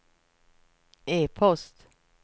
e-post